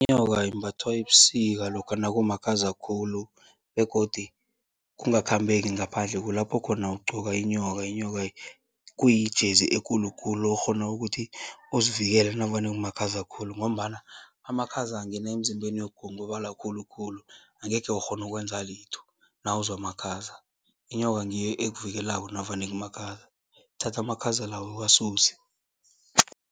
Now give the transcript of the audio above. Inyoka imbathwa ebusika lokha nakumakhaza khulu begodu kungakhambeki ngaphandle, kulapho khona ugqoka inyoka. Inyoka kuyi-jersey ekulu khulu okghona ukuthi uzivikele navane nakumakhaza khulu ngombana amakhaza angena emzimbeni uyagongobala khulukhulu, angekhe ukghone ukwenza litho nawuzwa amakhaza. Inyoka ngiyo ekuvikelako navane kumakhaza, ithatha amakhaza lawa iwasuse.